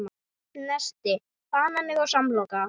Nesti: Banani og samloka